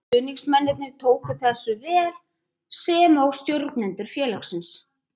Stuðningsmennirnir tóku þessu mjög vel sem og stjórnendur félagsins.